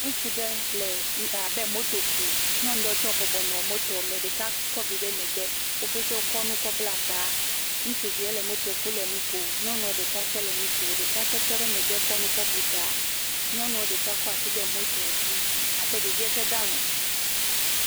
Ŋutsu ɖe le nu..abe le moto kum nyɔnu ɖewo tse bɔbɔ nɔ motoa me ɖeka kɔ vi ɖe megbe wo pete wokɔ nu kɔ bla ta, ŋutsuvie le moto kum le nu kom. Nyɔnu ɖe ka tse le nu kom ɖeka tse tɔ le megbe kɔ nu kɔ bu ta, Nyɔnua ɖeka kɔ asi de notoa dzi abe ɖevie tse dɔ alɔ.